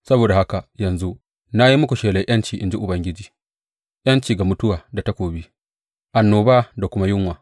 Saboda haka yanzu na yi muku shelar ’yanci in ji Ubangiji, ’yanci ga mutuwa ta takobi, annoba da kuma yunwa.